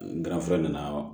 N garfe nana